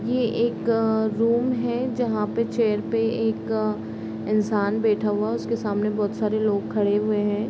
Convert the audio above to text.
ये एक अ रूम है जहाँ पे चेयर पे एक इंसान बैठा हुआ है जिसके सामने बहुत सारे लोग खड़े हुए हैं |